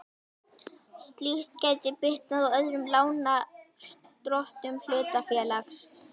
Slíkt gæti bitnað á öðrum lánardrottnum hlutafélags.